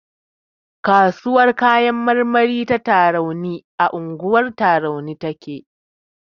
Kasuwar kayan marmari ta Tarauni a unguwar Tarauni take.